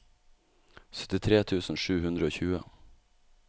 syttitre tusen sju hundre og tjue